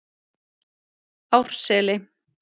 Árseli